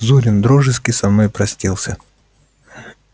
зурин дружески со мною простился